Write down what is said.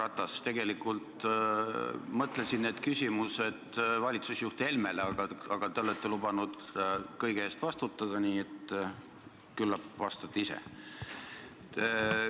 Härra Ratas, tegelikult mõtlesin ma need küsimused esitada valitsusjuht Helmele, aga te olete lubanud kõige eest vastutada, nii et küllap vastate ise.